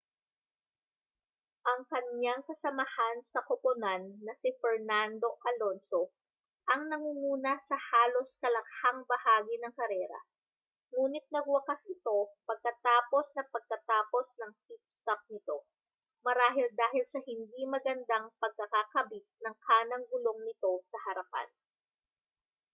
ang kaniyang kasamahan sa koponan na si fernando alonso ang nangunguna sa halos kalakhang bahagi ng karera nguni't nagwakas ito pagkatapos na pagkatapos ng pit-stop nito marahil dahil sa hindi magandang pagkakakabit ng kanang gulong nito sa harapan